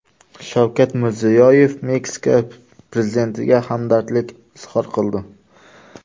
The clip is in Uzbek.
Shavkat Mirziyoyev Meksika prezidentiga hamdardlik izhor qildi.